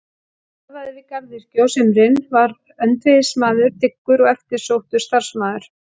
Hann starfaði við garðyrkju á sumrin, var öndvegismaður, dyggur og eftirsóttur starfsmaður.